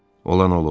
Olan olub.